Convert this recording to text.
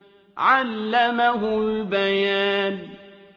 عَلَّمَهُ الْبَيَانَ